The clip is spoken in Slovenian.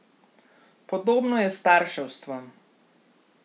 Podobno je s starševstvom.